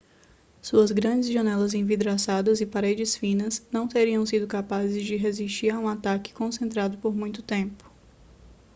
suas grandes janelas envidraçadas e paredes finas não teriam sido capazes de resistir a um ataque concentrado por muito tempo